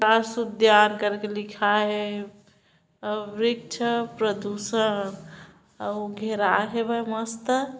घर बिल्डिंग मन सब हैच गे आदमी मन ठेला बेचा असन फूचका बेचत हे का-का सेव संतरा मन बेचत हेआदमी गोंडा कहा जा रहै एजग रेंगता हैं एजग ब--